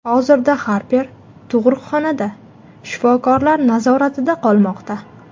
Hozirda Harper tug‘uruqxonada, shifokorlar nazoratida qolmoqda.